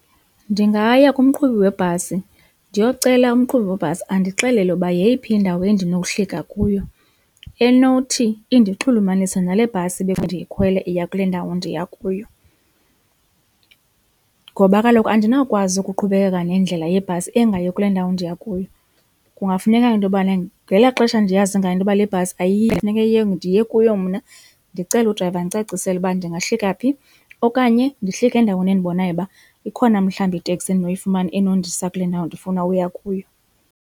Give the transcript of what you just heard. Ndingaya kumqhubi webhasi ndiyocela umqhubi webhasi andixelele uba yeyiphi indawo endinowuhlika kuyo enothi indixhulumanise nale bhasi bekufanele ndiyikhwele iya kule ndawo ndiya kuyo, ngoba kaloku andinawukwazi ukuqhubekeka nendlela yebhasi engayi kule ndawo ndiya kuyo. Kungafuneka into yobana ngela xesha ndiyazi ngayo intoba le bhasi ayiyi funeka ndiye kuyo mna ndicele udrayiva andicacisele uba ndingahlika phi okanye ndihlike endaweni endibonayo uba ikhona mhlawumbi iteksi endinoyifumana enondisa kule ndawo ndifuna uya kuyo.